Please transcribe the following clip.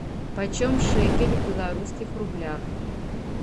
почем шекель в белорусских рублях